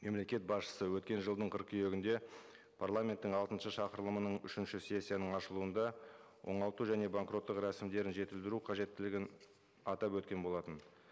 мемлекет басшысы өткен жылдың қыркүйегінде парламенттің алтыншы шақырылымының үшінші сессияның ашылуында оңалту және банкроттық рәсімдерін жетілдіру қажеттілігін атап өткен болатын